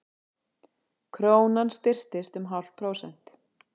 Krónan styrktist um hálft prósent